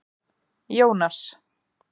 Jónas